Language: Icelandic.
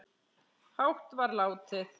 hátt var látið